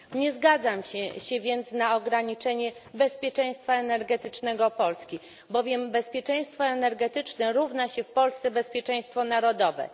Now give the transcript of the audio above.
Nie zgadzam się więc na ograniczenie bezpieczeństwa energetycznego Polski, bowiem bezpieczeństwo energetyczne równa się w Polsce bezpieczeństwu narodowemu.